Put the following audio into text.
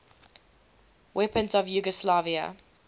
weapons of yugoslavia